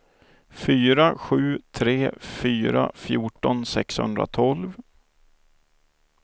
fyra sju tre fyra fjorton sexhundratolv